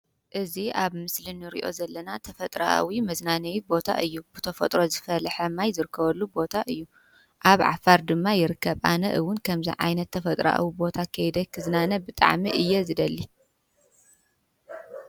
እዚ ኣብ ምስሊ እንሪኦ ዘለና ተፈጥሮኣዊ መዝናነይ ቦታ እዩ ብተፈጥሮ ዝፈልሐ ማይ ዝረከበሉ ቦታ እዩ ኣብ ዓፋር ድማ ይርከብ፡፡ ኣነ እውን ከምዚ ዓይነት ተፈጥሮኣዊ ቦታ ከይደ ክዝናነ ብጣዕሚ እየ ዝደሊ፡፡